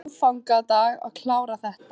Ertu á aðfangadag að klára þetta?